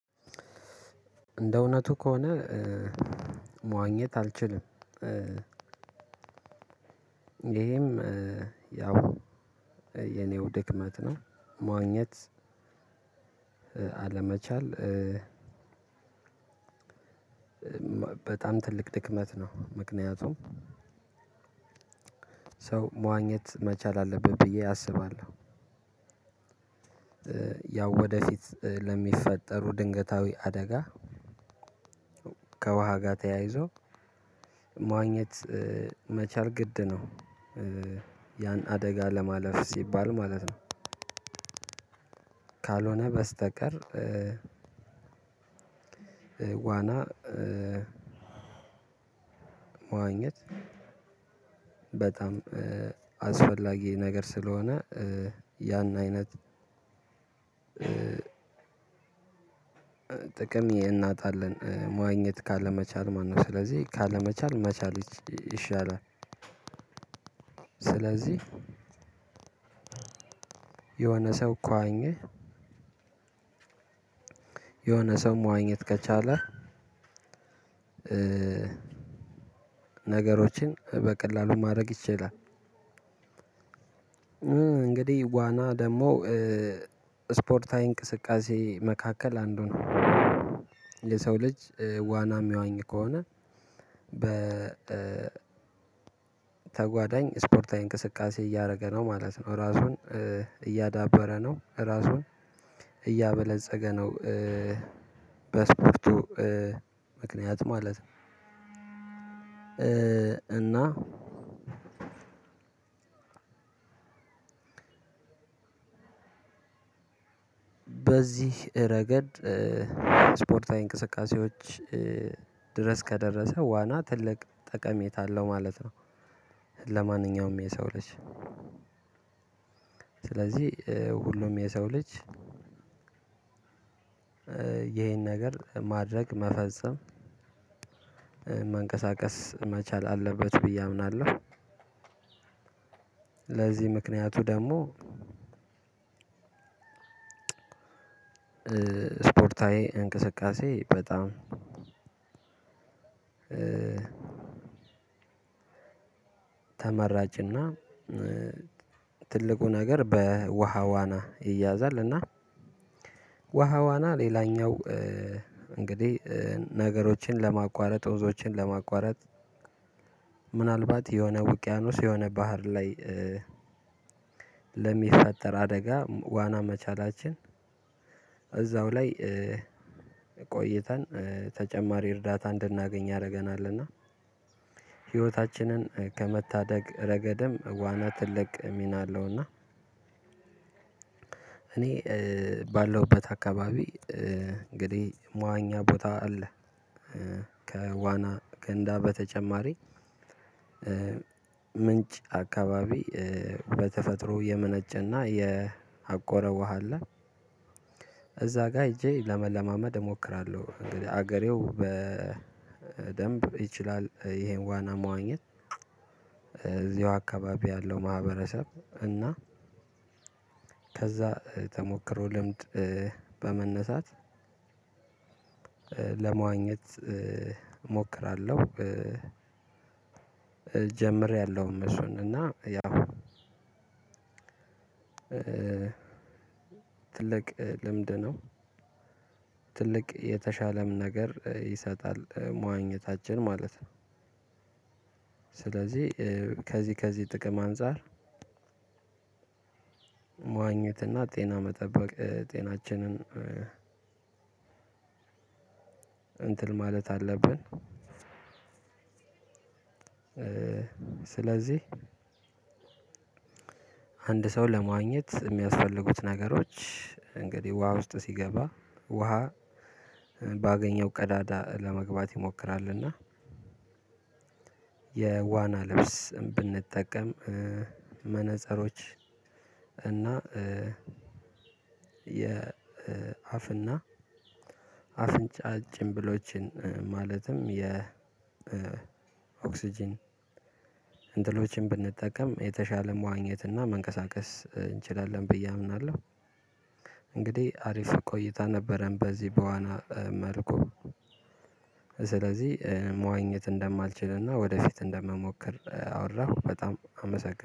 እንደ እውነቱ ከሆነ መዋኘት አልችልም። ይሄም ያው የኔው ድክመት ነው። መዋኘት አለመቻል በጣም ትልቅ ድክመት ነው። ምክንያቱም ሰው መዋኘት መቻል አለበት ብዬ አስባለሁ። ያው ወደፊት ለሚፈጠሩ ድንገታዊ አደጋ ከውሃ ጋር ተያይዞ መዋኘት መቻል ግድ ነው ያን አደጋ ለማለፍ ሲባል ማለት ነው። ካልሆነ በስተቀር። ዋና መዋኘት በጣም አስፈላጊ ነገር ስለሆነ። ያን አይነት ጥቅም እናጣለን መዋኘት ካለመቻል ማለት ነው። ስለዚህ ካለመቻል መቻል ይሻላል። ስለዚህ የሆነ ሰው ከዋኘ የሆነ ሰው መዋኘት ከቻለ ነገሮችን በቀላሉ ማድረግ ይችላል። እንግዲህ ዋና ደግሞ ስፖርታዊ እንቅስቃሴ መካከል አንዱ ነው። የሰው ልጅ ዋና የሚዋኝ ከሆነ በተጓዳኝ ስፖርታዊ እንቅስቃሴ እያደረገ ነው ማለት ነው ራሱን እያዳበረ ነው ራሱን እያበለፀገ ነው። በስፖርቱ ምክንያት ማለት እና በዚህ ረገድ ስፖርታዊ እንቅስቃሴዎች ድረስ ከደረሰ ዋና ትልቅ ጠቀሜታ አለው ማለት ነው። ለማንኛውም የሰው ልጅ ስለዚህ ሁሉም የሰው ልጅ ይሄን ነገር ማድረግ መፈጸም መንቀሳቀስ መቻል አለበት ብዬ አምናለሁ። ለዚህ ምክንያቱ ደግሞ ስፖርታዊ እንቅስቃሴ በጣም ተመራጭና ትልቁ ነገር በውሃ ዋና ይያዛል። እና ዉሃዋና ሌላኛው እንግዲህ ነገሮችን ለማቋረጥ ወንዞችን ለማቋረጥ ምናልባት የሆነ ውቅያኖስ የሆነ ባህር ላይ ለሚፈጠር አደጋ ዋና መቻላችን እዛው ላይ ቆይተን ተጨማሪ እርዳታ እንድናገኝ ያደርገናልና ህይወታችንን ከመታደግ ረገድም ዋና ትልቅ ሚና አለውና። እኔ ባለውበት አካባቢ እንግዲህ መዋኛ ቦታ አለ። ከዋና ገንዳ በተጨማሪ ምንጭ አካባቢ በተፈጥሮ የመነጨና የአቆረ ውሃ አለ። እዛ ጋር ሄጄ ለመለማመድ እሞክራለሁ። እንግዲህ ሀገሬው በደንብ ይችላል ይሄን ዋና መዋኘት እዚሁ አካባቢ ያለው ማህበረሰብ እና ከዛ ተሞክሮ ልምድ በመነሳት ለመዋኘት እሞክራለሁ። ጀምሬያለሁ እሱን እና ያው ትልቅ ልምድ ነው። ትልቅ የተሻለም ነገር ይሰጣል መዋኘታችን ማለት ነው። ስለዚህ ከዚህ ጥቅም አንፃር መዋኘት እና ጤና መጠበቅ ጤናችንን እንትን ማለት አለብን። ስለዚህ አንድ ሰው ለመዋኘት የሚያስፈልጉት ነገሮች እንግዲህ ውሃ ውስጥ ሲገባ ውሃ ባገኘው ቀዳዳ ለመግባት ይሞክራልና። የዋና ልብስ ብንጠቀም መነፀሮች እና የአፍና አፍንጫ ጭንብሎችን ማለትም የኦክስጅን እንትሎችን ብንጠቀም የተሻለ መዋኘት እና መንቀሳቀስ እንችላለን ብዬ አምናለሁ። እንግዲህ አሪፍ ቆይታ ነበረን በዚህ በዋና መርኩ ስለዚህ መዋኘት እንደማልችልና ወደፊት እንደምሞክር አወራሁ። በጣም አመሰግናለሁ